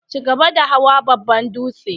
chigaba da hawan babban dūtse.